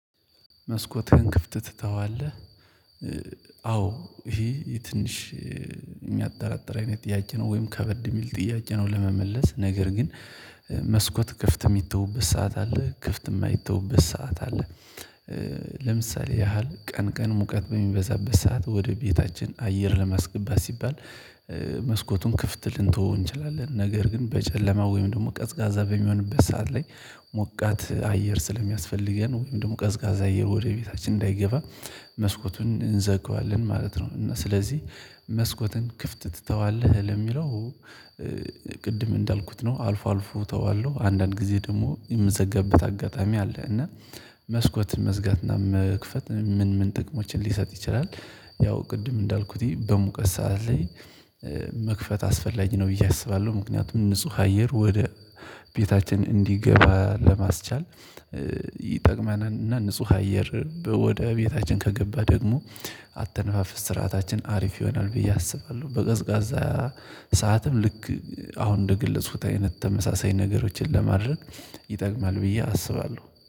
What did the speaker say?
መስኮትህን ክፍት ትተዋለህ? አዎ ይሄ ትንሽ የሚያጠራጥር አይነት ጥያቄ ነው ወይም ከበድ የሚል ጥያቄ ነው ለመመለስ ነገር ግን። መስኮት ክፍት የሚተውበት ሰዓት አለ ክፍት የማይተውበት ሰዓት አለ። ለምሳሌ ያህል ቀን ቀን ሙቀት በሚበዛበት ሰዓት ወደ ቤታችን አየር ለማስገባት ሲባል። መስኮቱን ክፍት ልንተወው እንችላለን ነገር ግን በጨለማ ወይም ደግሞ ቀዝቃዛ በሚሆንበት ሰዓት ላይ ሞቃት አየር ስለሚያስፈልገን ወይም ደግሞ ቀዝቃዛ አየር ወደ ቤታችን እንዳይገባ መስኮቱን እንዘግዋለን ማለት ነው። እና ስለዚህ መስኮትን ክፍት ትተዋለህ ለሚለው? ቅድም እንዳልኩት ነው አልፎ አልፎ ተዋለው አንዳንድ ጊዜ ደግሞ የምዘገበት አጋጣሚ አለ እና። መስኮት መዝጋት እና መክፈት ምን ምን ጥቅሞችን ሊሰጥ ይችላል? ያው ቅድም እንዳልኩት በሙቀት ሰዓት ላይ። መክፈት አስፈላጊ ነው ብዬ አስባለሁ ምክንያቱም ንጹህ አየር ወደ ቤታችን እንዲገባ ለማስቻል። ይጠቅመናል እና ንጹህ አየር ወደ ቤታችን ከገባ ደግሞ አተነፋፍስ ስርዓታችን አሪፍ ይሆናል ብዬ አስባለሁ። በቀዝቃዛ ሰዓትም ልክ አሁን እንደ ገለፅኩት አይነት ተመሳሳይ ነገሮችን ለማድረግ ይጠቅማል ብዬ አስባለሁ